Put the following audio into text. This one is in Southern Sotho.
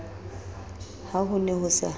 ha ho ne ho sa